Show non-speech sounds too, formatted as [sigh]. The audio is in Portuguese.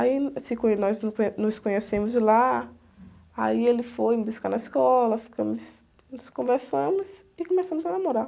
Aí, [unintelligible] nós [unintelligible] nos conhecemos lá, aí ele foi me buscar na escola, ficamos, nos conversamos e começamos a namorar.